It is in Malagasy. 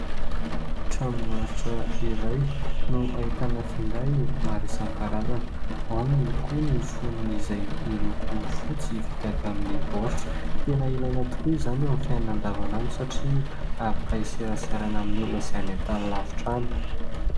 Tranom-barotra iray no ahitana finday maro isankarazany. Ao ihany koa ny foniny izay miloko fotsy vita avy amin'ny baoritra. Tena ilaina tokoa izany amin'ny fiainana andavanandro satria afaka hiseraserana amin'ny olona izay any an-tany lavitra any.